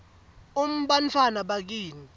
um bantfwana bakini